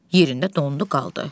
Yerində dondu qaldı.